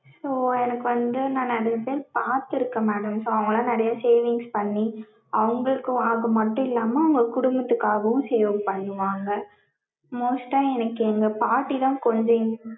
so எனக்கு வந்து நா நெறையா time பாத்திருக்கேன் madam so அவங்கல்லாம் நெறையா savings பண்ணி அவங்களுக்கு மட்டும் இல்லாம அவங்க குடும்பத்துக்காகவும் save பண்ணுவாங்க. most டா எனக்கு எங்க பாட்டி தான் கொஞ்சம்